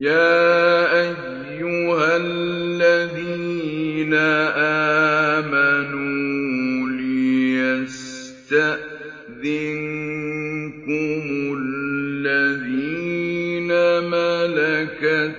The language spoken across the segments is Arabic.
يَا أَيُّهَا الَّذِينَ آمَنُوا لِيَسْتَأْذِنكُمُ الَّذِينَ مَلَكَتْ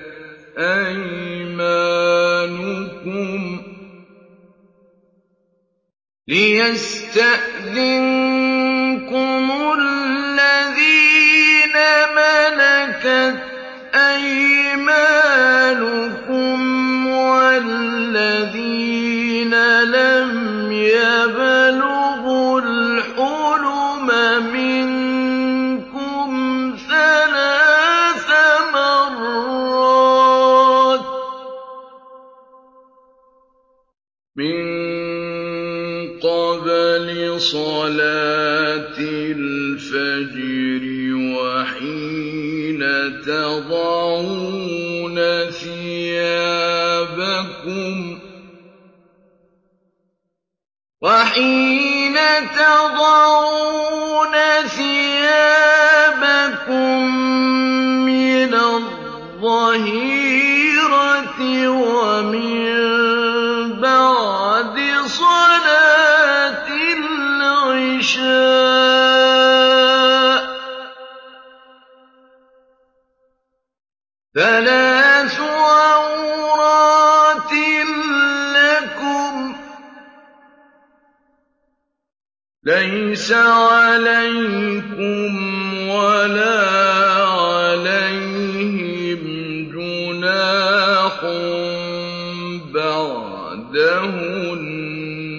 أَيْمَانُكُمْ وَالَّذِينَ لَمْ يَبْلُغُوا الْحُلُمَ مِنكُمْ ثَلَاثَ مَرَّاتٍ ۚ مِّن قَبْلِ صَلَاةِ الْفَجْرِ وَحِينَ تَضَعُونَ ثِيَابَكُم مِّنَ الظَّهِيرَةِ وَمِن بَعْدِ صَلَاةِ الْعِشَاءِ ۚ ثَلَاثُ عَوْرَاتٍ لَّكُمْ ۚ لَيْسَ عَلَيْكُمْ وَلَا عَلَيْهِمْ جُنَاحٌ بَعْدَهُنَّ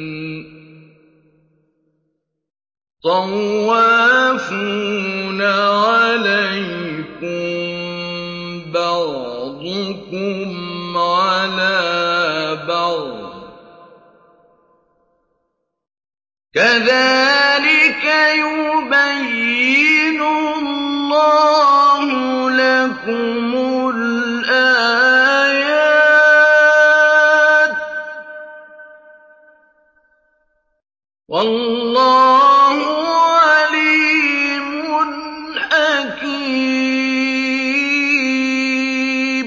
ۚ طَوَّافُونَ عَلَيْكُم بَعْضُكُمْ عَلَىٰ بَعْضٍ ۚ كَذَٰلِكَ يُبَيِّنُ اللَّهُ لَكُمُ الْآيَاتِ ۗ وَاللَّهُ عَلِيمٌ حَكِيمٌ